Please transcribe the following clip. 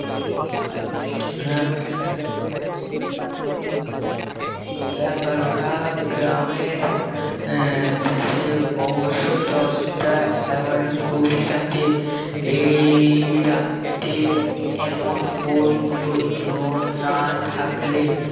এগারোটা গ্রামের আহ দেশে অবশ্য দশটা এগারোটা গভীর রাতে এই রাতে এমন কোন প্রয়োজন না থাকলে